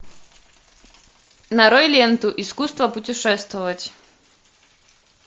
нарой ленту искусство путешествовать